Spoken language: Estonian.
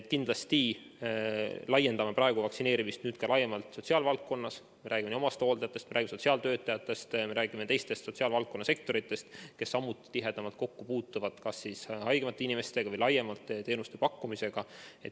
Kindlasti laiendame praegu vaktsineerimist sotsiaalvaldkonnas – räägime omastehooldajatest, räägime sotsiaaltöötajatest, räägime teiste sotsiaalvaldkonna sektorite töötajatest, kes samuti puutuvad tihedamalt kokku haigemate inimeste või teenuste pakkumisega.